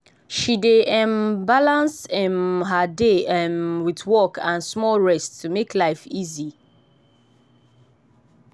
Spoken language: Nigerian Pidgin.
she dey um balance um her day um wit work and small rest to make life easy.